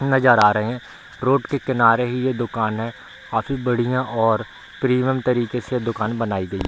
नजर आ रहे हैं रोड के किनारे ही ये दुकान है काफी बढ़िया और प्रीमियम तरीके से दुकान बनाई गयी --